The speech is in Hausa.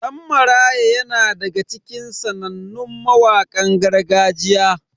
Dan Maraya yana daga cikin sanannun mawakan gargajiya.